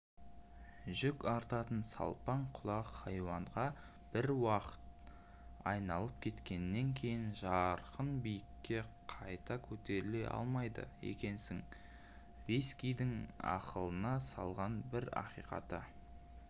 жүк артатын салпаң құлақ хайуанға бір айналып кеткеннен кейін жарқын биікке қайта көтеріле алмайды екенсің вискидің ақылына салған бір ақиқаты